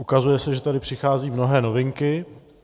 Ukazuje se, že tady přicházejí mnohé novinky.